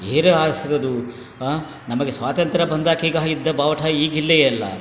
ಬೇರೆ ಆಸ್ರದು ಅಹ್ ನಮಗೆ ಸ್ವಾತಂತ್ರ ಬಂದಾಕೆಗೆ ಇದ್ದ ಬಾವುಟ ಈ ಗಿಲ್ಲೆ ಇಲ್ಲಾ.